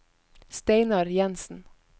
Steinar Jensen